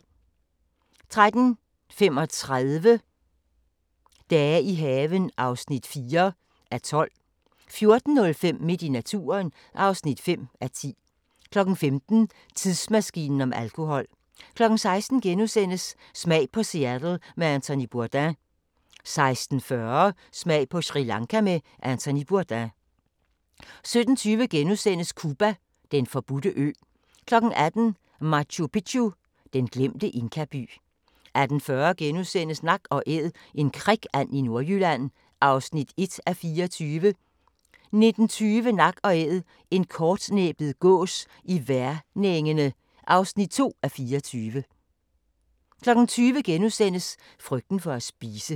13:35: Dage i haven (4:12) 14:05: Midt i naturen (5:10) 15:00: Tidsmaskinen om alkohol 16:00: Smag på Seattle med Anthony Bourdain * 16:40: Smag på Sri Lanka med Anthony Bourdain 17:20: Cuba: Den forbudte ø * 18:00: Machu Picchu: Den glemte inkaby 18:40: Nak & Æd – en krikand i Nordjylland (1:24)* 19:20: Nak & Æd – en kortnæbbet gås på Værnengene (2:24) 20:00: Frygten for at spise *